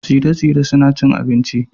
tsire-tsire suna cin abinci